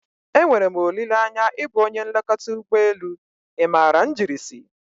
E nwere m olileanya ịbụ onye nlekọta ụgbọ elu, ị maara njirisi?